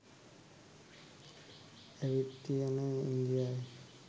ඇවිත් තියෙන්නෙ ඉන්දියවෙන්.